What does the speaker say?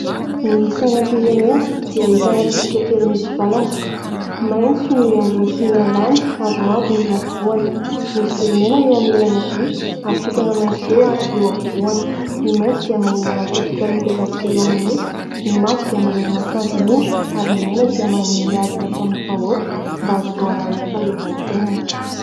Ny sainam-pirenena dia ahitana tsipika telo mitsivalana ; maitso ny ambony sy ny ambany ary mavo ny afovoany ; misy zoro mena eo amin'ny ilany havia ary kintana maitso roa eo afovoany. Ny maitso dia maneho ny ala tropikaly midadasika eo amin'ny nosy, ny mavo dia maneho ny masoandro miondrika ary ny mena ny ady nataon'ny vahoaka mba ahazoana ny fahaleovantena.